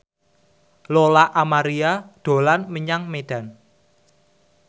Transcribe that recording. Lola Amaria dolan menyang Medan